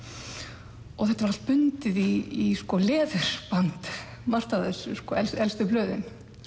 og þetta var allt bundið í leðurband margt af þessu elstu blöðin